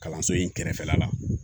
Kalanso in kɛrɛfɛla la